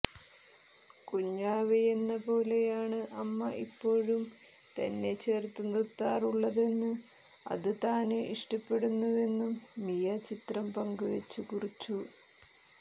കുഞ്ഞാവയെന്ന പോലെയാണ് അമ്മ ഇപ്പോഴും തന്നെ ചേര്ത്ത് നിര്ത്താറുള്ളതെന്ന് അത് താന് ഇഷ്ടപ്പെടുന്നുവെന്നും മിയ ചിത്രം പങ്കുവെച്ച് കുറിച്ചു